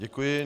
Děkuji.